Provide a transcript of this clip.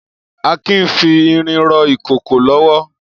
Akin n fi irin rọ ikókó lọwọ